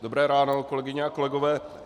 Dobré ráno, kolegyně a kolegové.